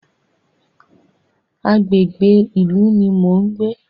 Agbègbè ìlú ní mo ń gbé.